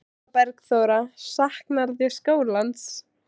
Eva Bergþóra: Saknarðu skólans?